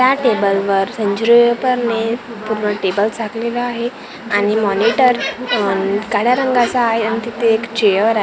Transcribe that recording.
त्या टेबल वर पेपर ने पूर्ण टेबल झाकलेला आहे आणि मॉनीटर काळ्या रंगाचा आहे आणि तिथे एक चेअर आहे.